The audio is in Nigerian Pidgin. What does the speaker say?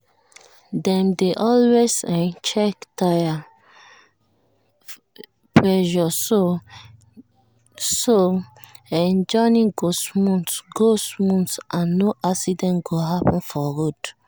dem dey always um check tire pressure so um journey go smooth go smooth and no accident go happen for road. um